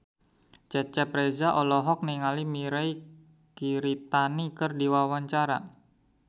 Cecep Reza olohok ningali Mirei Kiritani keur diwawancara